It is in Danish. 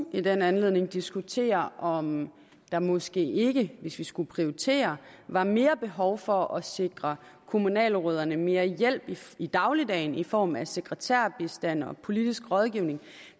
i den anledning diskutere om der måske ikke hvis vi skulle prioritere var mere behov for at sikre kommunalrødderne mere hjælp i dagligdagen i form af sekretærbistand og politisk rådgivning